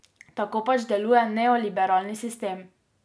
Tako pač deluje neoliberalni sistem.